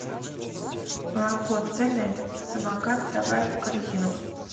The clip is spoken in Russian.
молоко цельное самокат добавь в корзину